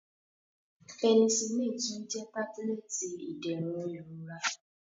Penisillini tun jẹ tabulẹti iderun irora.